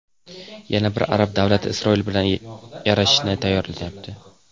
Yana bir arab davlati Isroil bilan yarashishga tayyorlanyapti.